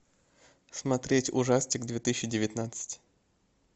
смотреть ужастик две тысячи девятнадцать